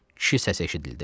Kişi səs eşidildi.